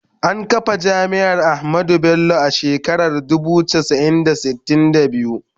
An kafa Jami’ar Ahmadu Bello a shekarar dubu casa'i da sitin da biyu.